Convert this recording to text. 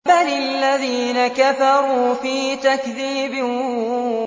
بَلِ الَّذِينَ كَفَرُوا فِي تَكْذِيبٍ